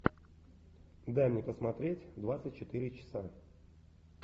дай мне посмотреть двадцать четыре часа